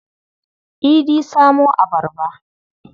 Idi samo abarba.